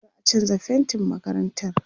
za'a chanza faintin makarantar